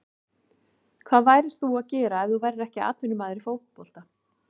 Hvað værir þú að gera ef þú værir ekki atvinnumaður í fótbolta?